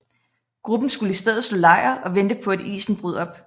Gruppen skulle i stedet slå lejr og vente på at isen brød op